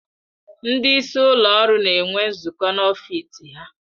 Ndị isi ụlọ ọrụ na-enwe nzukọ n'ọfịs ha.